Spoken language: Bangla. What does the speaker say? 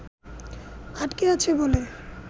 আটকে আছে বলে